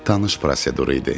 Tanış prosedur idi.